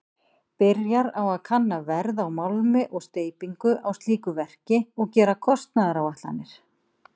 Byrjar á að kanna verð á málmi og steypingu á slíku verki og gera kostnaðaráætlanir.